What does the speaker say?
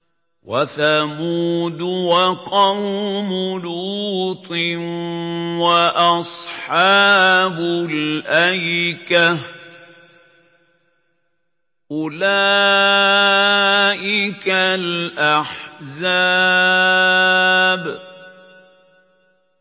وَثَمُودُ وَقَوْمُ لُوطٍ وَأَصْحَابُ الْأَيْكَةِ ۚ أُولَٰئِكَ الْأَحْزَابُ